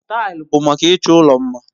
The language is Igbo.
Taịlị bụ maka ịchọ ụlọ mma.